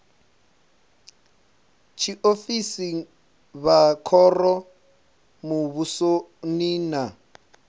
tshiofisi vha khoro muvhusoni na